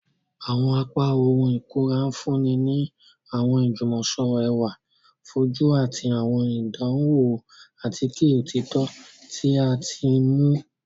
Awọn apá ohùn ikunra nfunni ni awọn ijumọsọrọ ẹwa fojú ati awọn ìdánwò atike òtítọ ti a ti mu.